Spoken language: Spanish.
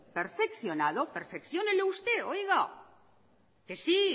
perfeccionado perfecciónelo usted que sí